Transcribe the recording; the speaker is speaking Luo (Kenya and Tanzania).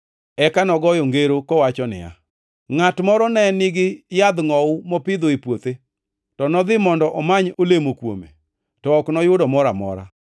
Eka nogoyo ngero kowacho niya, “Ngʼat moro ne nigi yadh ngʼowu mopidho e puothe, to nodhi mondo omany olemo kuome, to ok noyudo mora amora.